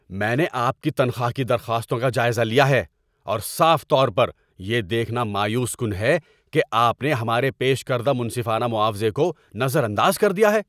میں نے آپ کی تنخواہ کی درخواستوں کا جائزہ لیا ہے، اور صاف طور پر، یہ دیکھنا مایوس کن ہے کہ آپ نے ہمارے پیش کردہ منصفانہ معاوضے کو نظر انداز کر دیا ہے۔